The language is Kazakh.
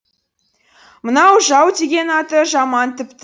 мынау жау деген аты жаман тіпті